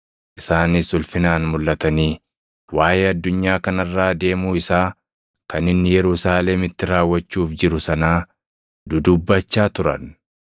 Isaanis ulfinaan mulʼatanii waaʼee addunyaa kana irraa deemuu isaa kan inni Yerusaalemitti raawwachuuf jiru sanaa dudubbachaa turan.